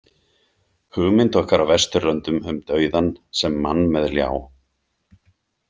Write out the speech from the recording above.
Hugmynd okkar á Vesturlöndum um dauðann sem mann með ljá.